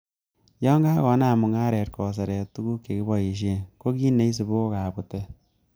Yon kakonam mung'aret koseret tuguk chekiboishien, ko kit neisibu ko kabutet.